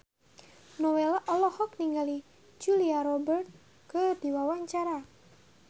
Nowela olohok ningali Julia Robert keur diwawancara